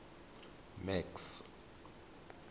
max